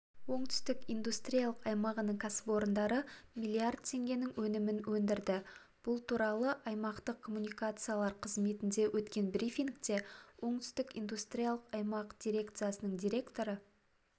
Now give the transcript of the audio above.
оңтүстік индустриялық аймағының кәсіпорындары млрд теңгенің өнімін өндірді бұл туралы аймақтық коммуникациялар қызметінде өткен брифингте оңтүстік индустриялық аймақ дирекциясының директоры